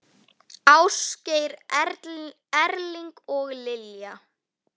Ásgeir Erling og Lilja.